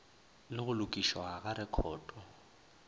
le go lokišwa ga rekhoto